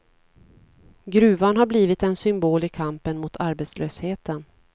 Gruvan har blivit en symbol i kampen mot arbetslösheten.